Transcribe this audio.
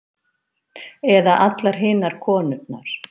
Eða allar hinar konurnar.